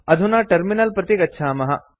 अधुना टर्मिनल प्रति गच्छामः